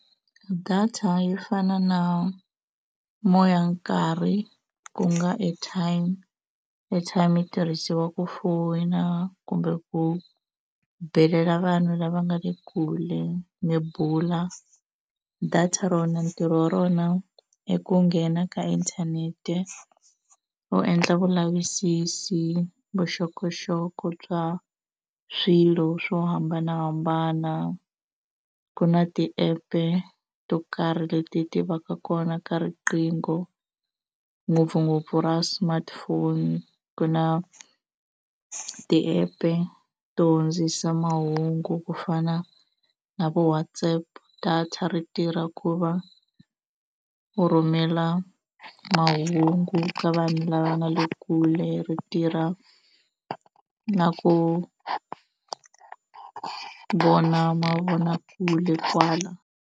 Data yi fana na moyankarhi ku nga airtime airtime yi tirhisiwa ku foyina kumbe ku belela vanhu lava nga le kule mi bula data rona ntirho wa rona i ku nghena ka inthanete u endla vulavisisi vuxokoxoko bya swilo swo hambanahambana ku na ti-app-e to karhi leti ti va ka kona ka riqingho ngopfungopfu ra smartphone ku na ti-app-e to hundzisa mahungu ku fana na vo WhatsApp data ri tirha ku va u rhumela mahungu ka vanhu lava nga le kule ri tirha na ku vona mavonakule kwala.